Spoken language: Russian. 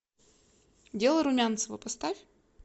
дело румянцева поставь